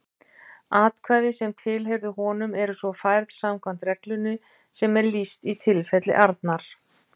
Atkvæði sem tilheyrðu honum eru svo færð samkvæmt reglunni sem lýst er í tilfelli Arnar.